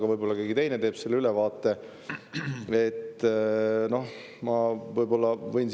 Tavaliselt teeb Toomas Mattson selle ülevaate, aga võib-olla keegi teine.